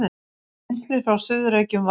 Rennslið frá Suður-Reykjum var